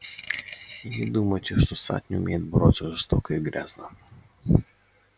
и не думайте что сатт не умеет бороться жестоко и грязно